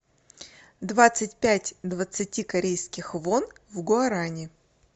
двадцать пять двадцати корейских вон в гуарани